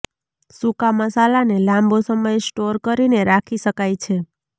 સૂકા મસાલાને લાંબો સમય સ્ટોર કરીને રાખી શકાય છે